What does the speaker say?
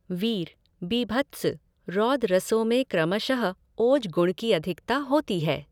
वीर, बीभत्स, रौद्र रसों में क्रमश ओज गुण की अधिकता होती है।